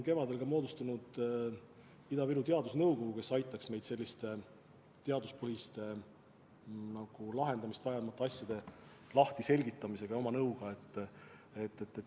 Kevadel me moodustasime Ida-Virumaa teadusnõukogu, kes peab meid aitama teaduspõhist lahendamist vajavate probleemide lahtiseletamisega ja üldse oma nõuga.